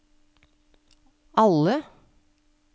alle